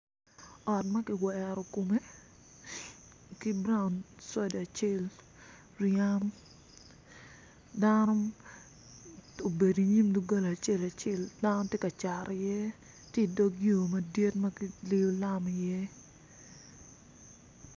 Ot ma kiwero kome ki brand soda acel Riham dano obedo inyim dogola acel acel dano tye ka cat iye tye idog yo madit ma kiliyo lam iye.